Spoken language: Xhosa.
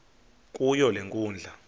kuyo le nkundla